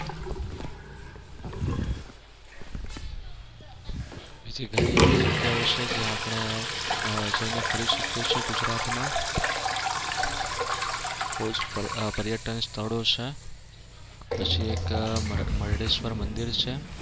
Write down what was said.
બીજી ઘણી બધી એવી જગ્યાઓ છે જ્યાં જઈને આપણે ફરી શકીએ છીએ ગુજરાતમાં. બવ જ પર્યટન સ્થળો છે. પછી એક મરદેશ્વર મંદિર છે.